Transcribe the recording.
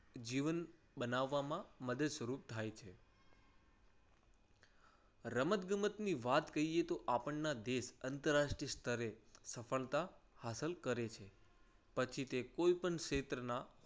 જીવન બનાવવામાં મદદ સ્વરૂપ થાય છે. રમતગમતની વાત કહીએ તો આપણના દેશ આંતરરાષ્ટ્રીય સ્તરે સફળતા હાંસલ કરે છે. પછી તે કોઈ પણ ક્ષેત્રના